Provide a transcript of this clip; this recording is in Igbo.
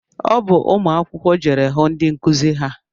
Ọ bụ ụmụ akwụkwọ jeere hụ ndị nkụzi ha